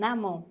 Na mão.